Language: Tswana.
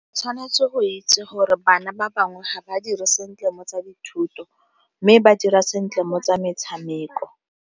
Tshwanetse go itse gore bana ba bangwe ga ba dire sentle mo tsa dithuto mme ba dira sentle mo tsa metshameko.